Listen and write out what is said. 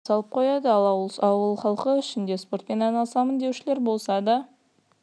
сабақ біткен бойда құлып салып қояды ал ауыл халқы ішінде спортпен айналысамын деушілер болса да